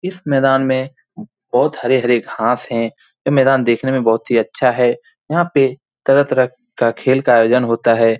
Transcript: इस मैदान में बहुत हरे-हरे घास है। यह मैदान देखने में बहुत ही अच्छा है। यहाँ पे तरह-तरह का खेल का आयोजन होता है।